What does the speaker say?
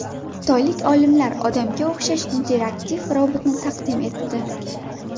Xitoylik olimlar odamga o‘xshash interaktiv robotni taqdim etdi.